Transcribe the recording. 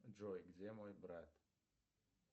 джой где мой брат